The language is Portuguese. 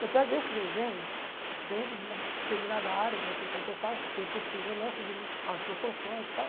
Eu pego esse desenho dentro de uma determinada área que você quer que eu faça, se é possível ou não, seguindo as proporções e tal.